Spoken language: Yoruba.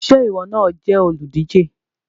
Ṣé ìwọ náà jẹ́ olùdíje?